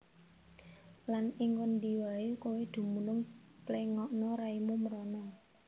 Lan ing ngendi waé kowé dumunung pléngakna raimu mrana